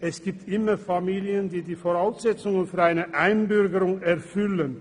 Es gibt immer Familien, welche die Voraussetzungen für eine Einbürgerung erfüllen.